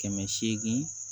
Kɛmɛ seegin